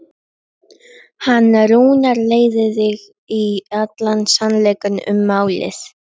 Hann Rúnar leiðir þig í allan sannleika um málið.